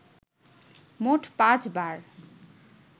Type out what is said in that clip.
মোট পাঁচ বার